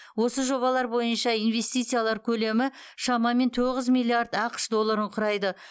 осы жобалар бойынша инвестициялар көлемі шамамен тоғыз миллиард ақш долларын құрайды